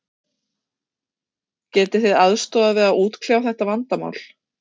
Getið þið aðstoðað við að útkljá þetta vandamál?